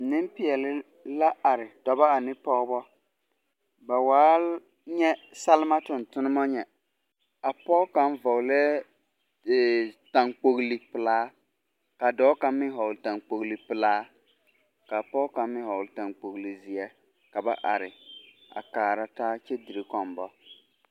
Nempeɛle la are dɔbɔ ane pɔgebɔ. Ba waa nyɛ salma tontonema nyɛ. A pɔg kaŋ hɔglɛɛ taŋkpogli pelaa kaa dɔɔ kaŋ meŋ hɔgle taŋkpogli pelaa kaa pɔg kaŋ meŋ hɔgle taŋkpogli zeɛ. Ka ba are a kaara taa kyɛ dire kɔmbɔ.